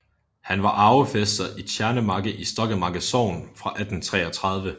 Han var arvefæster i Tjernemarke i Stokkemarke Sogn fra 1833